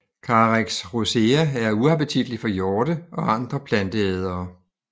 Carex rosea er uappetitlig for hjorte og andre planteædere